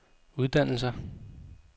uddannelser